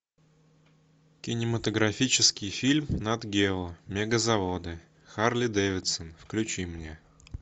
кинематографический фильм нат гео мегазаводы харлей дэвидсон включи мне